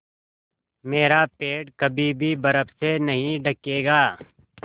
मेरा पेड़ कभी भी बर्फ़ से नहीं ढकेगा